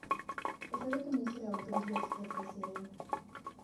посоветуй мне сериал друзья четвертая серия